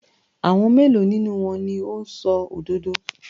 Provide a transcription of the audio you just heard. Àwọn mélòó nínú wọn ni ó ń sọ òdodo?